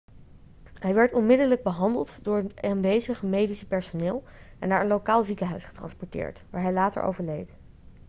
hij werd onmiddellijk behandeld door het aanwezige medisch personeel en naar een lokaal ziekenhuis getransporteerd waar hij later overleed